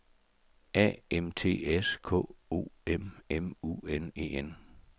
A M T S K O M M U N E N